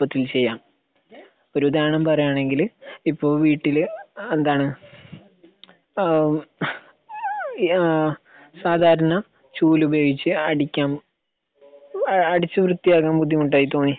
എളുപ്പത്തിൽ ചെയ്യാം ഒരു ഉദാഹരണം പറയാണെങ്കില് ഇപ്പൊ വീട്ടില് എന്താണ് ഏഹ് ഏഹ് ആഹ് സാധാരണ ചൂൽ ഉപയോഗിച്ച് അടിക്കാൻ ഏഹ് അടിച്ചു വൃത്തിയാക്കാൻ ബുദ്ധിമുട്ടായി തോന്നി.